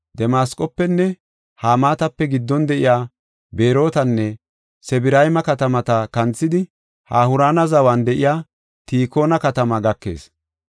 Damasqofenne Hamaatape giddon de7iya Berootanne Sibrayma katamata kanthidi, Hawurana zawan de7iya Tikoona katamaa gakees.